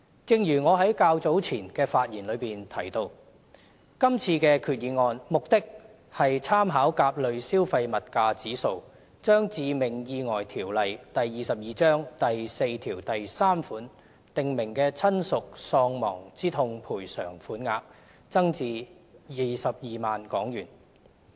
正如我在較早前的發言中提到，今次的決議案目的是參考甲類消費物價指數，將《致命意外條例》第43條訂明的親屬喪亡之痛賠償款額增至22萬港元。